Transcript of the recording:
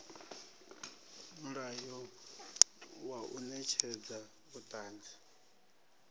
mulayo wa u netshedza vhuṱanzi